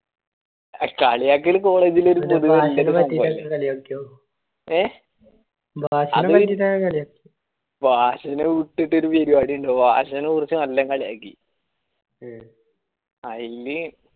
കളിയാക്കൽ പൊതുവെ college ലൊരു പൊതുവായ ഭാഷയെ വിട്ടിട്ടൊരു ഒരു പരിവാടി ഇണ്ടോ ഭാഷയെ കുറിച്ച നല്ലേ കളിയാക്കി അയിന്